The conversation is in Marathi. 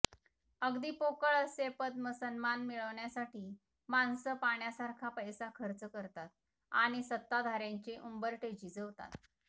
अगदी पोकळ असे पद्म सन्मान मिळवण्यासाठी माणसं पाण्यासारखा पैसा खर्च करतात आणि सत्ताधाऱ्यांचे उंबरठे झिजवतात